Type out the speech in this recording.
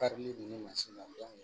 Karili dun bɛ mansin na